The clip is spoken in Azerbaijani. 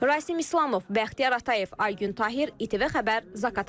Rasim İslamov, Bəxtiyar Atayev, Aygün Tahir, İTV Xəbər, Zaqatala.